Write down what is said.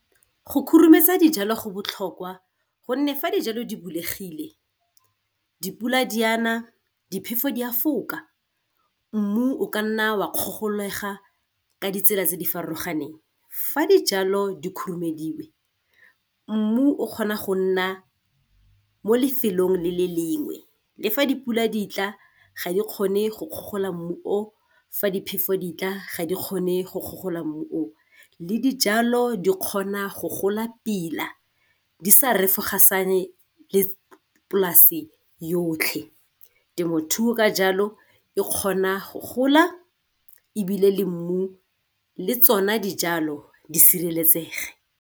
Go khurumetsa dijalo go botlhokwa gonne fa dijalo di bulegile dipula di a na, diphefo di a foka, mmu o ka nna wa kgogolega ka ditsela tse di farologaneng. Fa dijalo di khurumediwe mmu o kgona go nna mo lefelong le le lengwe le fa dipula di tla ga di kgone go kgogola mmu o, fa diphefo diatla ga di kgone go kgogola mmu o, le dijalo di kgona go gola pila di sa refosaganyane le polasi yotlhe. Temothuo ka jalo e kgona go gola, ebile le mmu le tsona dijalo di sireletsege.